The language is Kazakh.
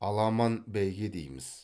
аламан бәйге дейміз